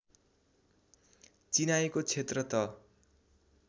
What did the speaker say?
चिनाएको क्षेत्र त